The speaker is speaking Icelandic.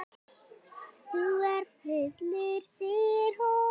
Þú ert fullur, segir hún.